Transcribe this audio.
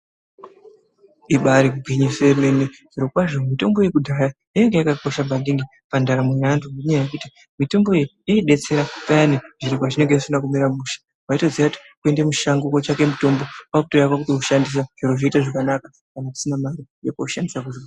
Ibari gwinyiso yemene zviro kwazvo mitombo yekudhaya yainga yakakosha maningi pandaramo yevantu. Ngenyaya yekuti mitombo iyi inobetsera payani zviro pazvinonga zvisina kumira mushe. Vaitoziya kuti kuenda mushango kotsvaka mutombo kwakutouya kwakutoushandisa. Zviro zvooita zvakanaka kana usina mari yekoshandisa kuzvibhedhlera.